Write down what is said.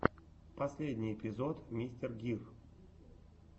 последний эпизод мистер гир